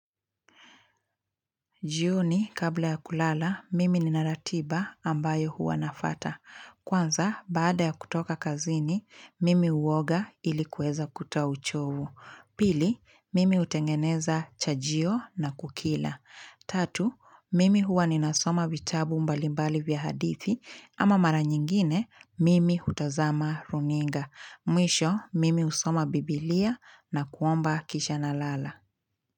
Jioni, kabla ya kulala, mimi ninaratiba ambayo huwanafuata. Kwanza, baada ya kutoka kazini, mimi huoga ilikuweza kutoa uchovu. Pili, mimi hutengeneza chajio na kukila. Tatu, mimi huwa ninasoma vitabu mbalimbali vya hadithi, ama mara nyingine, mimi hutazama runinga. Mwisho, mimi husoma biblia na kuomba kisha nalala.